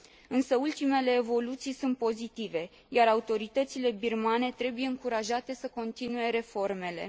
Însă ultimele evoluții sunt pozitive, iar autoritățile birmane trebuie încurajate să continue reformele.